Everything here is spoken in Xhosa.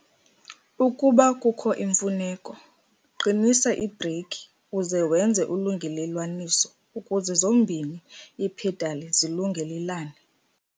Ukuba kukho imfuneko, qinisa iibreyikhi uze wenze ulungelelwaniso ukuze zombini iiphedali zilungelelane.